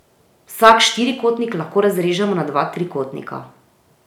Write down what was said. Vsak štirikotnik lahko razrežemo na dva trikotnika.